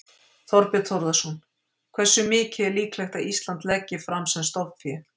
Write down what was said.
Þorbjörn Þórðarson: Hversu mikið er líklegt að Ísland leggi fram sem stofnfé?